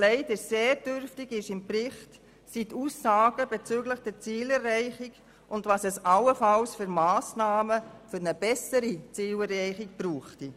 Sehr dürftig stellt der Bericht die Aussagen bezüglich der Zielerreichung dar und mit welchen Massnahmen die Ziele allenfalls erreicht werden können.